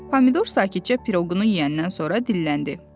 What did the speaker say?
Pomidor sakitcə piroqunu yeyəndən sonra dilləndi.